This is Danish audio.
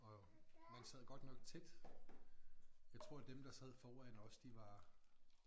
Og man sad godt nok tæt. Jeg tror dem der sad foran os de var